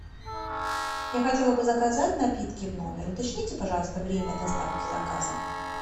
я хотела бы заказать напитки в номер уточните пожалуйста время доставки заказа